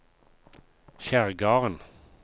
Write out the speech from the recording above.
Kjerrgarden